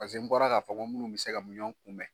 Pase n bɔra ka fɔ minnu bɛ se ka miyɔn kunbɛn.